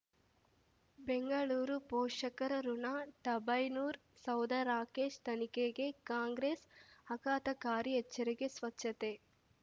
ಬೆಂಗಳೂರು ಪೋಷಕರಋಣ ಟರ್ಬೈನು ಸೌಧ ರಾಕೇಶ್ ತನಿಖೆಗೆ ಕಾಂಗ್ರೆಸ್ ಆಘಾತಕಾರಿ ಎಚ್ಚರಿಕೆ ಸ್ವಚ್ಛತೆ